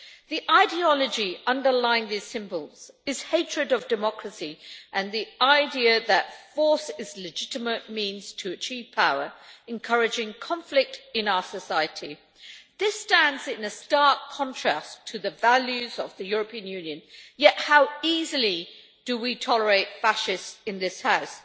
The ideology underlying these symbols is hatred of democracy and the idea that force is a legitimate means to achieve power, encouraging conflict in our society. This stands in a stark contrast to the values of the European Union, yet how easily do we tolerate fascists in this House!